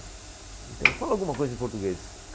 Então, fala alguma coisa em português.